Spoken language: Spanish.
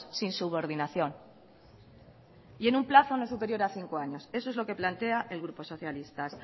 sin subordinación y en un plazo no superior a cinco años eso es lo que plantea el grupo socialista